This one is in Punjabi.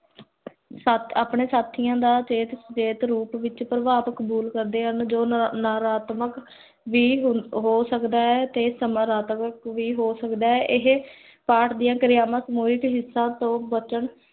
ਸਤ ਆਪਣੇ ਸਾਥੀਆਂ ਦਾ ਸੇਹਤ, ਸੇਹਤ ਰੂਪ ਵਿਚ ਪਰ੍ਬਾਵ ਕਬੂਲ ਕਰਦੇ ਹਨ, ਜੋ ਨਾ ਨਾਰਾਤਮਕ, ਵੀ ਹੋ ਸਕਦਾ ਹੈ, ਤੇ ਸਕਾਰਾਤਮਕ ਵੀ ਹੋ ਸਕਦਾ ਹੈ ਇਹ ਪਾਠ ਦੀਆਂ ਕਿਰਿਅਤ੍ਮਤ ਬਚਨ